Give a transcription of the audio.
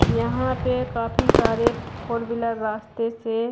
यहां पे काफी सारे फ फोर व्हीलर रास्ते से--